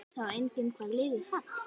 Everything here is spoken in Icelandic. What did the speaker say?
Sjá einnig: Hvaða lið falla?